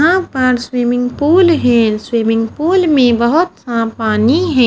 यहाँ पर swimming pool है स्विमिंग पूल में बहोत सा पानी है।